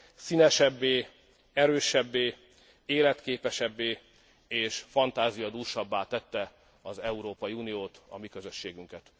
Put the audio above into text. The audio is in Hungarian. Színesebbé, erősebbé, életképesebbé és fantáziadúsabbá tette az Európai Uniót, a mi közösségünket.